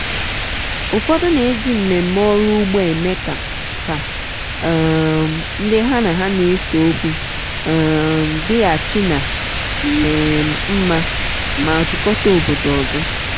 ụfọdụ na-eji mmemme ọrụ ugbo eme ka ka um ndị ha na ha n'eseokwu um dịghachi ná um mma ma jikọta obodo ọzọ.